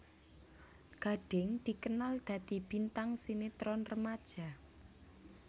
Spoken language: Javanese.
Gading dikenal dadi bintang sinetron remaja